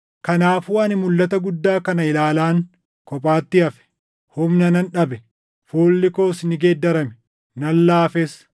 Kanaafuu ani mulʼata guddaa kana ilaalaan kophaatti hafe; humna nan dhabe; fuulli koos ni geeddarame; nan laafes.